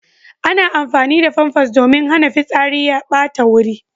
Ana amfani da famfas domin hana fitsari ya ɓata wuri.